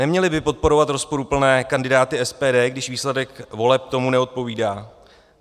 Neměli by podporovat rozporuplné kandidáty SPD, když výsledek voleb tomu neodpovídá.